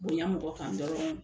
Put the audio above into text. Bonya mɔgɔ kan dɔrɔn.